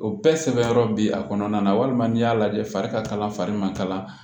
O bɛɛ sɛbɛn yɔrɔ bi a kɔnɔna na walima n'i y'a lajɛ fari ka kalan fari man kala